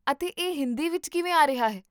ਅਤੇ ਇਹ ਹਿੰਦੀ ਵਿੱਚ ਕਿਵੇਂ ਆ ਰਿਹਾ ਹੈ?